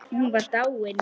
Hún var dáin.